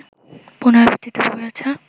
পুনরাবৃত্তিতে ভরে আছে